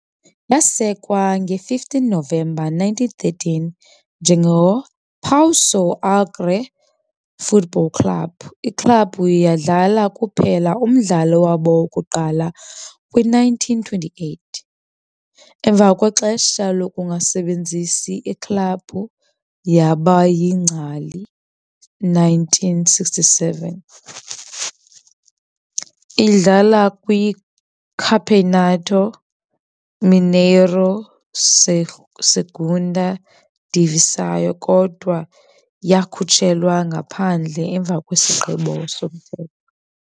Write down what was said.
Yasekwa ngo-15 Novemba 1913 "njengePouso Alegre Football Club", iklabhu yadlala kuphela umdlalo wabo wokuqala kwi-1928. Emva kwexesha lokungasebenzisi, iklabhu yaba yingcali 1967, idlala kwiCampeonato Mineiro Segunda Divisão kodwa yakhutshelwa ngaphandle emva kwesigqibo somthetho.